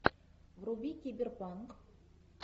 вруби киберпанк